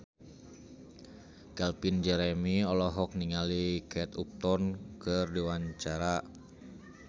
Calvin Jeremy olohok ningali Kate Upton keur diwawancara